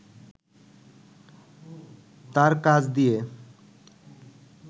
তাঁর কাজ দিয়ে